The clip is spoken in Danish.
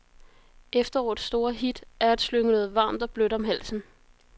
Efterårets store hit er at slynge noget varmt og blødt om halsen.